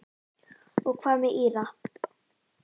Og hvað með Íra?